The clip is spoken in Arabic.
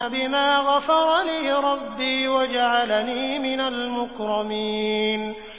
بِمَا غَفَرَ لِي رَبِّي وَجَعَلَنِي مِنَ الْمُكْرَمِينَ